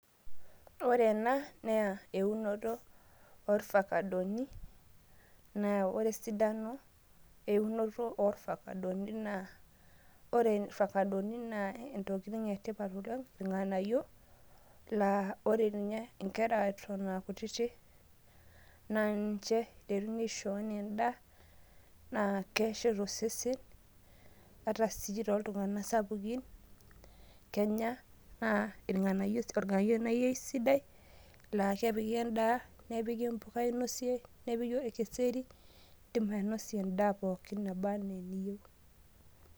Ore ena naa eunoto orfakadoni nee ore esidano eunoto orfakadoni ore irfakadoni naa Intokitin etipat oleng', Neeta irng'anayio laa ore ninye enkera Eton aa kutitik naa nche eiteruni aisho enaa edaa, ore sii tooltung'anak sapukin Kenya naa irng'anayio naa irng'anayio sii Sii sidai naa kepiki endaa, nepiki sii empuka ainosie idim ainosie endaa pookin naba enaa eniyieu.